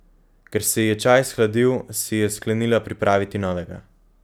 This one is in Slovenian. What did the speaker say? Ker se ji je čaj shladil, si je sklenila pripraviti novega.